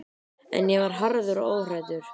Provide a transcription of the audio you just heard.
En ég var harður og óhræddur.